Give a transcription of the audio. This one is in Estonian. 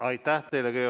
Aitäh teile!